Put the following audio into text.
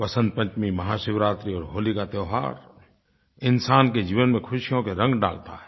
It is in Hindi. वसन्त पंचमी महाशिवरात्रि और होली का त्योहार इंसान के जीवन में ख़ुशियों के रंग डालता है